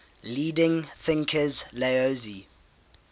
leading thinkers laozi